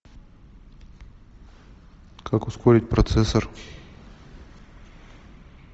как ускорить процессор